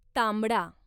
तांबडा